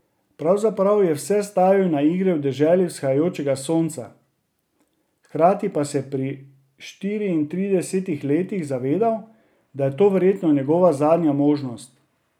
Pravzaprav je vse stavil na igre v deželi vzhajajočega sonca, hkrati pa se pri štiriintridesetih letih zavedal, da je to verjetno njegova zadnja možnost.